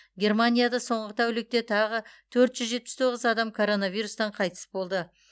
германияда соңғы тәулікте тағы төрт жетпіс тоғыз адам коронавирустан қайтыс болды